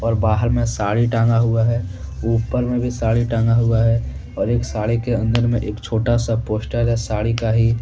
और बाहर में साड़ी टांगा हुआ है उपर में भी साड़ी टांगा हुआ है और एक साड़ी के अन्दर में एक छोटा सा पोस्टर है साड़ी का ही--